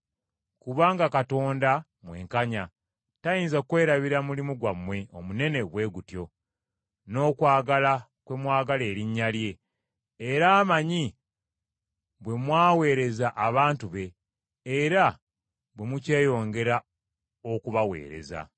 Kubanga Katonda mwenkanya tayinza kwerabira mulimu gwammwe omunene bwe gutyo, n’okwagala kwe mwagala erinnya lye, era amanyi bwe mwaweereza abantu be, era bwe mukyeyongera okubaweereza.